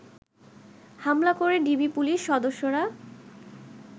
হামলা করে DB police সদস্যরা